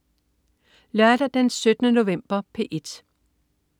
Lørdag den 17. november - P1: